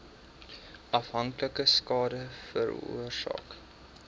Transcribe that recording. afhanklikheid skade veroorsaak